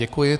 Děkuji.